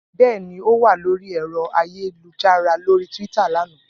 Bẹ́ẹ̀ ni, ó wà lórí ẹ̀rọ ayélujára lórí Twitter lánàá